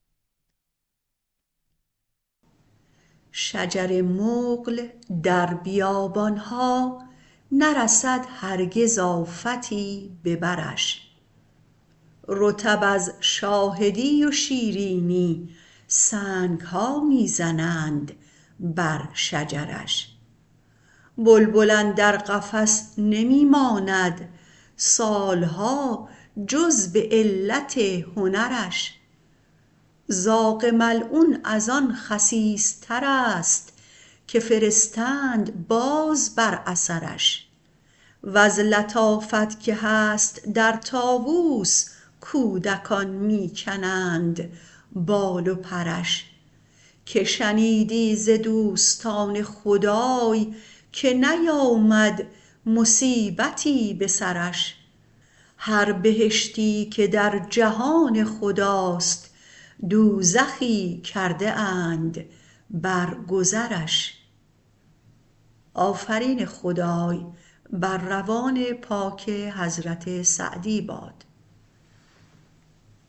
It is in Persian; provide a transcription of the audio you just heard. شجر مقل در بیابان ها نرسد هرگز آفتی به برش رطب از شاهدی و شیرینی سنگ ها می زنند بر شجرش بلبل اندر قفس نمی ماند سال ها جز به علت هنرش زاغ ملعون از آن خسیس ترست که فرستند باز بر اثرش وز لطافت که هست در طاووس کودکان می کنند بال و پرش که شنیدی ز دوستان خدای که نیامد مصیبتی به سرش هر بهشتی که در جهان خداست دوزخی کرده اند بر گذرش